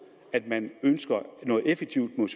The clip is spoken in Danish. at man ønsker noget effektivt mod